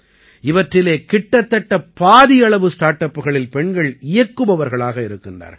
இவற்றிலே கிட்டத்தட்ட பாதியளவு ஸ்டார்ட் அப்புகளில் பெண்கள் இயக்குபவர்களாக இருக்கின்றார்கள்